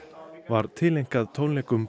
var tileinkað tónleikum